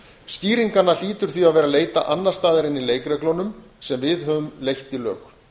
skýringanna hlýtur því að vera að leita annars staðar en í leikreglunum sem við höfum leitt í lög